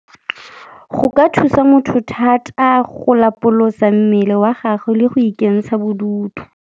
Go ka thusa motho thata go lapolosa mmele wa gagwe le go ikentsha bodutu.